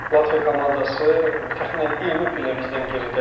Latviya komandası təxminən 20 pillə bizdən geridədir.